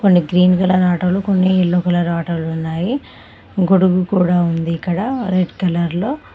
కొన్ని green colour ఆటోలు కొన్ని ఎల్లో కలర్ ఆటోలున్నాయి గొడుగు కూడా ఉంది ఇక్కడ రెడ్ కలర్లో .